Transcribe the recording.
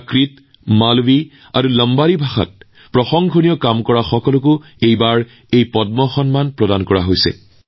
প্ৰাকৃত মালৱী আৰু লাম্বাদী ভাষাত উৎকৃষ্ট কাম কৰা সকলকো এই সন্মান প্ৰদান কৰা হৈছে